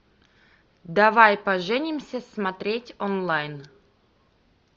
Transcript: давай поженимся смотреть онлайн